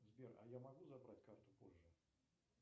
сбер а я могу забрать карту позже